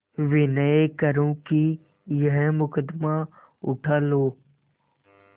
विनय करुँ कि यह मुकदमा उठा लो